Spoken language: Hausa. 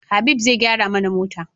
Habib zai gyara mana mota